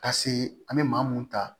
Ka se an bɛ maa mun ta